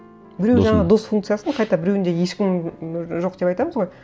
біреу жаңа дос функциясын қайта біреуінде ешкім жоқ деп айтамыз ғой